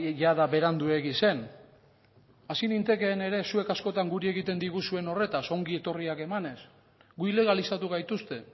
jada beranduegi zen hasi nintekeen ere zuek askotan guri egiten diguzuen horretaz ongietorriak emanez gu ilegalizatu gaituzte